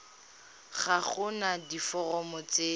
ga go na diforomo tse